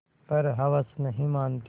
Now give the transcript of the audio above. पर हवस नहीं मानती